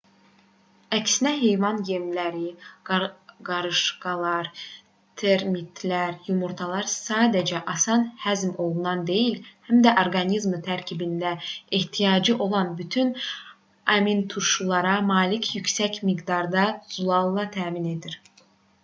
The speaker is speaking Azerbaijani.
əksinə heyvan yemləri qarışqalar termitlər yumurtalar sadəcə asan həzm olunan deyil həm də orqanizmi tərkibində ehtiyacı olan bütün aminturşulara malik yüksək miqdarda zülalla təmin edir